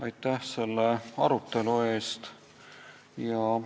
Aitäh selle arutelu eest!